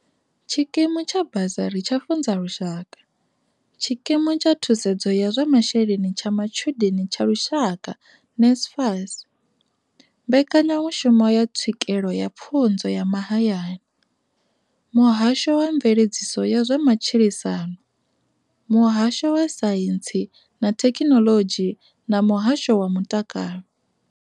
Tshikimu tsha basari tsha Funza Lushaka, tshikimu tsha thusedzo ya zwa masheleni tsha matshudeni tsha lushaka NSFAS, mbekanyamushumo ya tswikelo ya pfunzo ya mahayani, muhasho wa mveledziso ya zwa matshilisano, muhasho wa saintsi na thekhinolodzhi na muhasho wa mutakalo.